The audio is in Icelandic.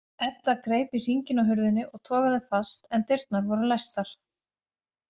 Edda greip í hringinn á hurðinni og togaði fast en dyrnar voru læstar.